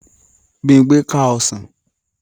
Bímpé ká ọsàn